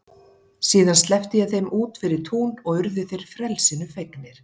Síðan sleppti ég þeim út fyrir tún og urðu þeir frelsinu fegnir.